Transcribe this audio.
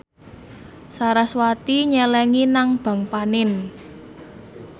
sarasvati nyelengi nang bank panin